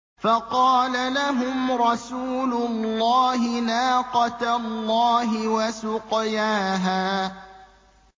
فَقَالَ لَهُمْ رَسُولُ اللَّهِ نَاقَةَ اللَّهِ وَسُقْيَاهَا